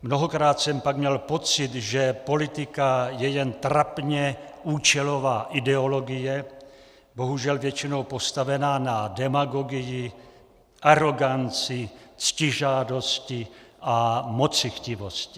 Mnohokrát jsem pak měl pocit, že politika je jen trapně účelová ideologie, bohužel většinou postavená na demagogii, aroganci, ctižádosti a mocichtivosti.